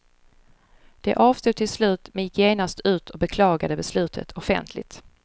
De avstod till slut, men gick genast ut och beklagade beslutet offentligt.